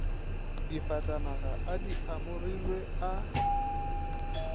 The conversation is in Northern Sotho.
difatanaga a di amogilwe a